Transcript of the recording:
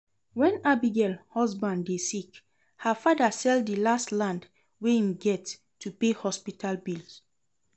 When Abigail husband dey sick, her father sell the last land wey im get to pay hospital bill